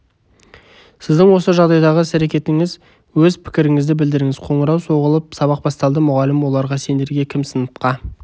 сіздің осы жағдайдағы іс-әрекетіңіз өз пікіріңізді білдіріңіз қоңырау соғылып сабақ басталды мұғалім оларға сендерге кім сыныпқа